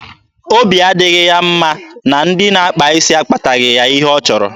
Obi adịghị ya mma na ndị na-akpa isi akpataghị ya ihe ọ chọrọ.